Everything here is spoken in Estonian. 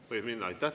Võib minna?